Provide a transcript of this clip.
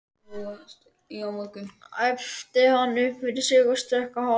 æpti hann upp yfir sig og stökk á hálf